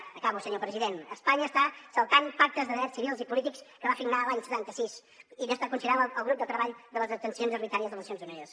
acabo senyor president espanya està saltant pactes de drets civils i polítics que va signar l’any setanta sis i no està considerant el grup de treball de detencions arbitràries de nacions unides